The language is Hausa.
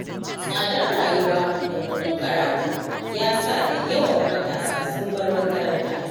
Tsadar rayuwa da kuɗin karatu, ya sa da yawan matasa sun bar makaranta.